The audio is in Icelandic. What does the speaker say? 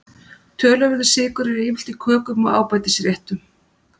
Töluverður sykur er yfirleitt í kökum og ábætisréttum.